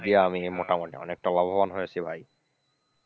আমি মোটামুটি অনেকটা লাভবান হয়েছি ভাই,